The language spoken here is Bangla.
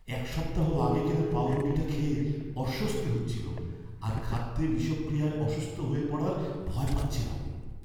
এক সপ্তাহ আগে কেনা পাঁউরুটিটা খেয়ে অস্বস্তি হচ্ছিল আর খাদ্যে বিষক্রিয়ায় অসুস্থ হয়ে পড়ার ভয় পাচ্ছিলাম।